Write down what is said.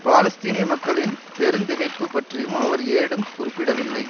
பாலஸ்தீனிய மக்களின் பெருந்திகைப்பு பற்றியும் அவர் ஏடும் குறிப்பிடவில்லை